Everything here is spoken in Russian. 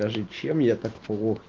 чем я так